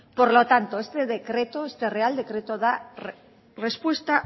por lo tanto este real decreto da respuesta